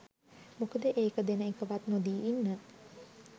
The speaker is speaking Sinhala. මොකද ඒක දෙන එකවත් නොදී ඉන්න